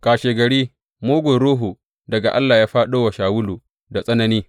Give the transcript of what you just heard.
Kashegari, mugun ruhu daga Allah ya fāɗo wa Shawulu da tsanani.